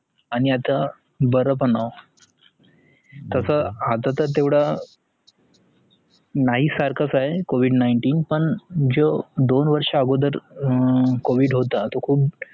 आणी आता बरपण आहों तस आतातर तेएवढा नाही सारख चा आहे covid nineteen पण जो दोन वर्षा अगोदरं covid nineteen खुप